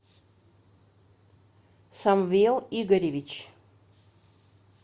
самвел игоревич